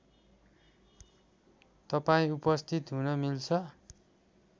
तपाईँ उपस्थित हुन मिल्छ